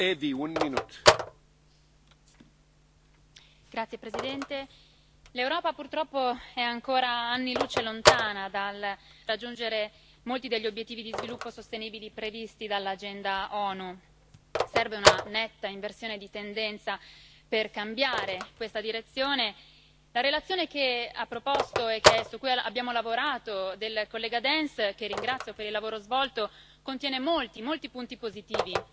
Signor Presidente, onorevoli colleghi, l'Europa purtroppo è ancora anni luce lontana dal raggiungere molti degli obiettivi di sviluppo sostenibile previsti dall'agenda ONU. Serve una netta inversione di tendenza per cambiare questa direzione. La relazione che ha proposto, e su cui abbiamo lavorato, il collega Dance che ringrazio per il lavoro svolto contiene molti, molti punti positivi